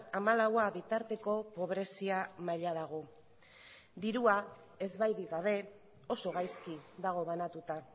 hamalaua bitarteko pobrezia maila dago dirua ezbairik gabe oso gaizki dago banatuta